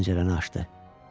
Pəncərəni açdı.